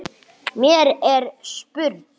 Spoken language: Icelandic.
Mér er spurn!